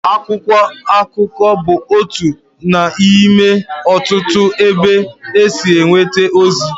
Akwụkwọ akụkọ bụ otu n'ime ọtụtụ ebe e si enweta ozi.